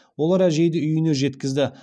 олар әжейді үйіне жеткізді